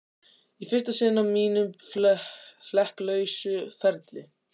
Í fyrsta sinn á mínum flekk lausa ferli.